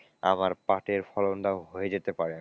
আবার পাটের ফলনটাও হয়ে যেতে পারে।